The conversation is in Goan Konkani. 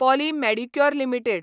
Polly Medicure limited